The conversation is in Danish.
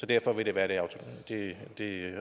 derfor vil være det